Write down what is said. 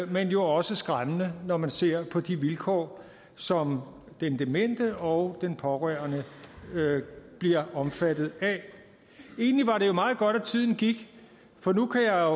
men jo også skræmmende når man ser på de vilkår som den demente og den pårørende bliver omfattet af egentlig var det jo meget godt at tiden gik for nu kan jeg